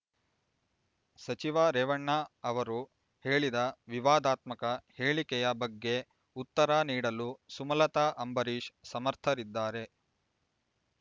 ಸಚಿವ ರೇವಣ್ಣ ಅವರು ಹೇಳಿದ ವಿವಾದಾತ್ಮಕ ಹೇಳಿಕೆಯ ಬಗ್ಗೆ ಉತ್ತರ ನೀಡಲು ಸುಮಲತ ಅಂಬರೀಶ್ ಸಮರ್ಥರಿದ್ದಾರೆ